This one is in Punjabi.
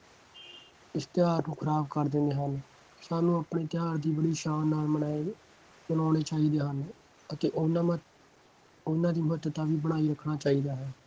ਇਸ ਤਿਉਹਾਰ ਨੂੰ ਖਰਾਬ ਕਰ ਦਿੰਦੇ ਹਨ। ਸਾਨੂੰ ਆਪ। ਣੇ ਤਿਉਹਾਰ ਦੀ ਬੜੀ ਸ਼ਾਨ ਨਾਲ ਮਨਾਏ ਮਨਾਉਣੇ ਚਾਹੀਦੇ ਹਨ ਅਤੇ ਉਹਨਾ ਮਹੱਤ~ ਉਹਨਾ ਦੀ ਮਹੱਤਤਾ ਵੀ ਬਣਾਈ ਰੱਖਣਾ ਚਾਹੀਦਾ ਹੈ।